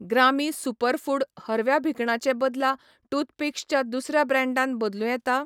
ग्रामी सुपरफूड हरव्या भिकणा चे बदला टूथपिक्स च्या दुसऱ्या ब्रँडान बदलूं येता?